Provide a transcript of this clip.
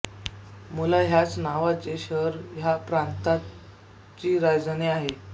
मुला ह्याच नावाचे शहर ह्या प्रांताची राजधानी आहे